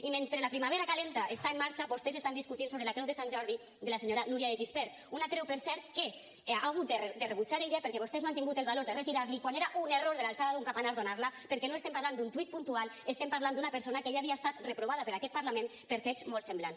i mentre la primavera calenta està en marxa vostès estan discutint sobre la creu de sant jordi de la senyora núria de gispert una creu per cert que ha hagut de rebutjar ella perquè vostès no han tingut el valor de retirar l’hi quan era un error de l’alçada d’un campanar donar la perquè no estem parlant d’un tuit puntual estem parlant d’una persona que ja havia estat reprovada per aquest parlament per fets molt semblants